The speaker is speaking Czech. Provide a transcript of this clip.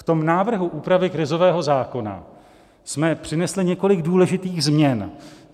V tom návrhu úpravy krizového zákona jsme přinesli několik důležitých změn.